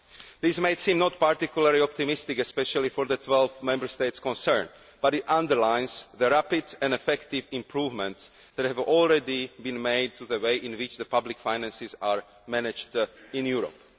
This might not seem particularly optimistic, especially for the 12 Member States concerned, but it underlines the rapid and effective improvements that have already been made to the way in which public finances are managed in Europe.